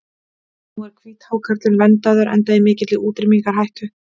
Nú er hvíthákarlinn verndaður enda í mikilli útrýmingarhættu.